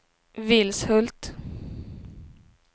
Vilshult